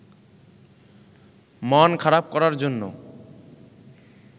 মন খারাপ করার জন্য